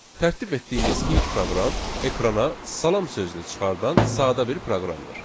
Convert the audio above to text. Tərtib etdiyimiz ilk proqram ekrana salam sözünü çıxardan sadə bir proqramdır.